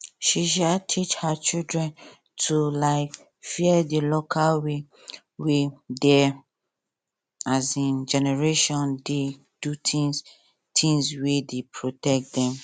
she um teach her children to um fear the local way way their um generation dey do things things wey dey protect them